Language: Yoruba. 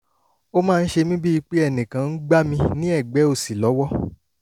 ó máa ń ṣe mí bíi pé ẹnìkan ń gbá mi ní ẹ̀gbẹ́ òsì lọ́wọ́